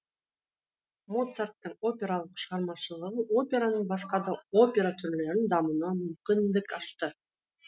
моцарттың опералық шығармашылығы операның басқа да опера түрлерінің дамуына мүмкіндік ашты